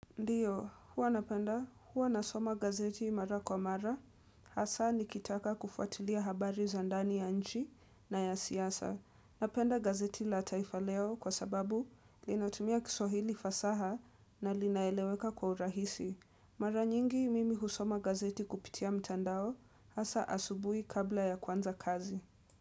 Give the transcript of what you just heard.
Ndiyo, huwa napenda, huwa nasoma gazeti mara kwa mara, hasa nikitaka kufuatilia habari za ndani ya nchi na ya siyasa. Napenda gazeti la taifa leo kwa sababu linatumia kiswahili fasaha na linaeleweka kwa urahisi. Mara nyingi mimi husoma gazeti kupitia mtandao, hasa asubui kabla ya kuanza kazi.